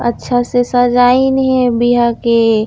अच्छा से सजायिन हे बिया के--